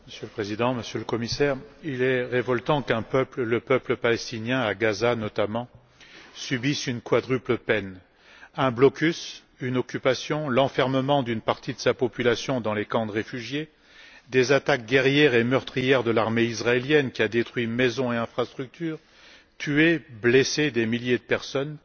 Monsieur le Président, Monsieur le Commissaire, il est révoltant qu'un peuple notamment le peuple palestinien à Gaza subisse une quintuple peine un blocus, une occupation, l'enfermement d'une partie de sa population dans des camps de réfugiés, des attaques guerrières et meurtrières de l'armée israélienne qui a détruit maisons et infrastructures, tué ou blessé des milliers de personnes